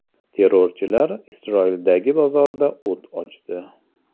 Terrorchilar Isroildagi bozorda o‘t ochdi.